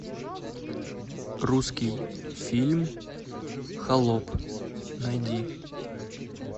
русский фильм холоп найди